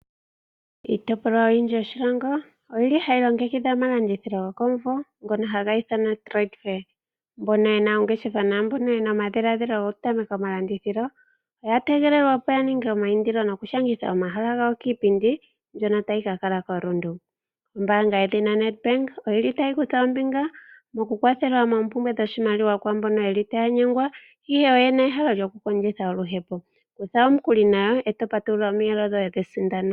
Iitopolwa oyindji yoshilongo, oyi li hayi longekidhile omalandithilo gokomumvo, ngono haga ithanwa Trade Fair. Mbono ye na oongeshefa naambono ye na omadhiladhilo gokutameka omalandithilo, oya tegelelwa opo ya ninge omaindilo nokushangitha omahala gawo kiipindi, mbyono tayi ka kala koRundu. Ombaanga yedhina Ned bank, oyi li tayi kutha ombinga mokukwathela moompumbwe dhoshimaliwa kwaambono ye li taya nyengwa, ihe oye na ehalo lyokukondjitha oluhepo. Konga omukuli nayo, e to patulula omiyelo shoye dhesindano.